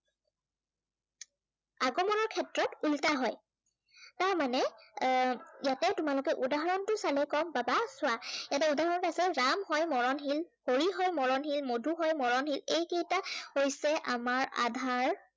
ইয়াত ওলোটা হয়। তাৰমানে এৰ ইয়াতে তোমালোকে উদহৰণটো চালে গম পাবা চোৱা ইয়াতে উদাহৰণত আছে, ৰাম হয় মৰণশীল, হৰি হয় মৰণশীল, মধু হয় মৰণশীল। এইকেইটা হৈছে আমাৰ আধাৰ